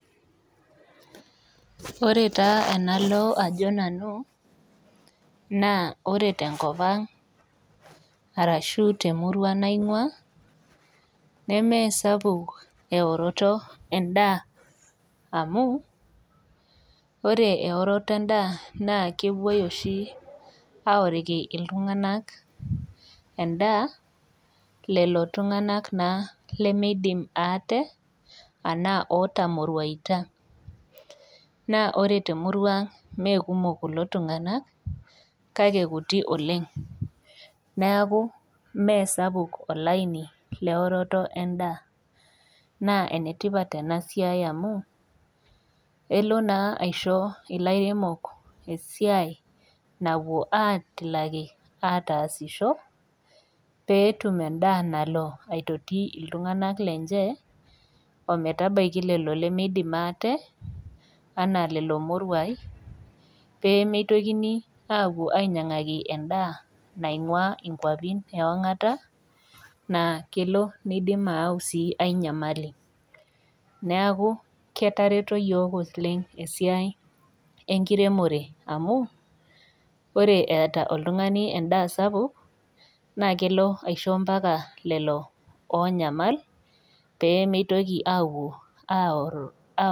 Ore taa enalo ajo nanu naa ore tenkopang' arashu temurua naing'uaa nemeesapuk eoroto endaa amuu ore eoroto endaa naakepuoi oshi aoriki iltung'anak endaa lelo tung'anak naa lemeidim aate anaa otamoruaita. Naa ore temuruang' ana mee kumok kulo tung'anak kake kuti oleng'. Neaku mee sapuk olaini leoroto endaa. Naa enetipat enasiai amu elo naa aisho ilairemok esiai napuo atilaki ataasisho peetum endaa nalo aitoti iltung'anak lenche, ometabaiki lelo lemeidim aate anaa lelo moruai peemeitokini aapuo ainyang'aki endaa naing'uaa inkuapin eong'ata naa kelo neidim aau sii ai nyamali. Neaku ketareto iyiok oleng' esiai enkiremore amu ore eeta oltung'ani endaa sapuk naakelo aisho mpaka lelo oonyamal peemeitoki apuo aorro [ao].